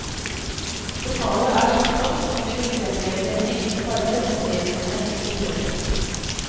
Lokalet er så flott at vi vil fremheve det med enklere farver og nedtonet interiør.